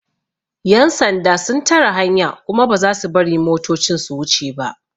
Yan sanda sun tare hanya kuma ba za su bari motocin su wuce ba.